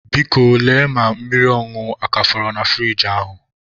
Biko, lee ma mmiri ọṅụṅụ a ka fọrọ na furiji ahụ